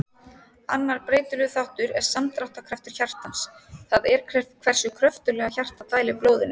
Annar breytilegur þáttur er samdráttarkraftur hjartans, það er hversu kröftuglega hjartað dælir blóðinu.